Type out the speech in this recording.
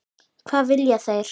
Hvað vilja þeir?